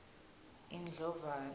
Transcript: indlovana